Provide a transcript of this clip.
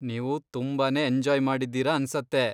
ನೀವು ತುಂಬಾನೇ ಎಂಜಾಯ್ ಮಾಡಿದ್ದೀರ ಅನ್ಸತ್ತೆ.